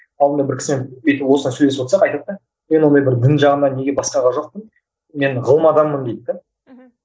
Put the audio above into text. алдында бір кісімен бүйтіп осылай сөйлесіп отырсақ айтады да мен ондай бір дін жағына неге басқаға жоқпын мен ғылым адамымын дейді де мхм